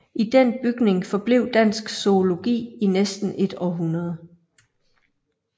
I den bygning forblev dansk zoologi i næsten et århundrede